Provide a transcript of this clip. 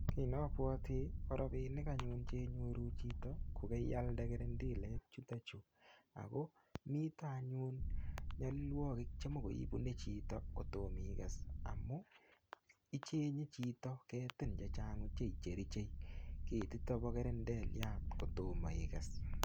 Kii napwoti korobinik anyun chenyoru chito kokeiyalde kerendelek chutokchu ako mito anyun nyolilwokikik chemikoi ibune chito kotom ikes amun ichenye chito ketin chechang' mising' cherichei ketitok bo kerendeliat kotomo ikes